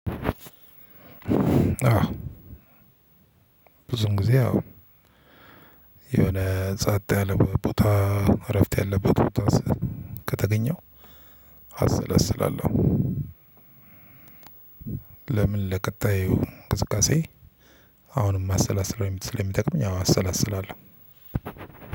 ብዙን ጊዜ ያው የሆነ ጸጥ ያለ ቦታ እረፍት ያለበት ቦታ ከተገኘው አሰላስላለሁ። ለምን ለቀጣዩ እንቅስቃሴ አሁንም እማሰላስለው ስለሚጠቅመኝ አሰላስላለሁ።